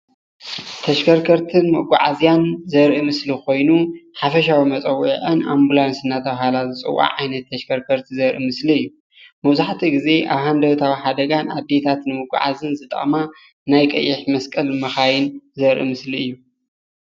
ተሽከርከርትን መጓዓዝያን ዘርኢ ኾይኑ ሓፈሻዊ መፀዋዕዑ ኣንቡላንስ እኔተቤሃለ ዘርኢ እዩ ።ናዬ ቀይሕጠመሰቀል እየን እተን መኪና